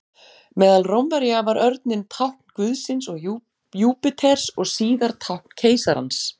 Meðal Rómverja var örninn tákn guðsins Júpíters og síðar tákn keisarans.